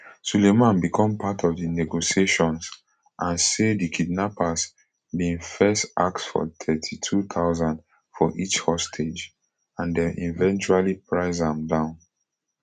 sulaiman become part of di negotiations and say di kidnappers bin first ask for thirty-two thousand for each hostage and dem eventually price am down